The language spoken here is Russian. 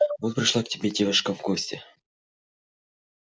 вот пришла к тебе девушка в гости